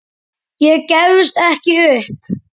Ég gefst ekki upp.